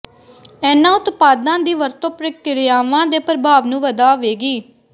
ਇਨ੍ਹਾਂ ਉਤਪਾਦਾਂ ਦੀ ਵਰਤੋਂ ਪ੍ਰਕਿਰਿਆਵਾਂ ਦੇ ਪ੍ਰਭਾਵ ਨੂੰ ਵਧਾਵੇਗੀ